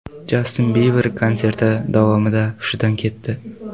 Jastin Biber konserti davomida hushidan ketdi.